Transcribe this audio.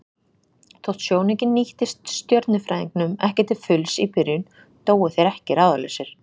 Þótt sjónaukinn nýttist stjörnufræðingnum ekki til fulls í byrjun dóu þeir ekki ráðalausir.